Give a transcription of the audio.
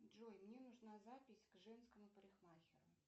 джой мне нужна запись к женскому парикмахеру